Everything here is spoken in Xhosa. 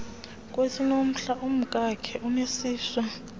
kwesiinomhlwa umkakhe uneziswa